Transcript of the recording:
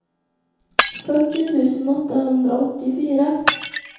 fyrtio tusen åttahundraåttiofyra